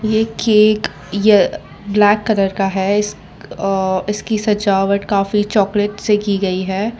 ये केक य black colour का है अ इसकी सजावट काफी चॉकलेट से की गई है।